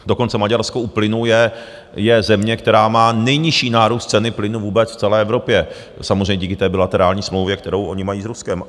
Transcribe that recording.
Dokonce Maďarsko u plynu je země, která má nejnižší nárůst ceny plynu vůbec v celé Evropě, samozřejmě díky té bilaterální smlouvě, kterou oni mají s Ruskem.